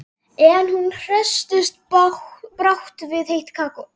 En hún hresstist brátt við heitt kakóið.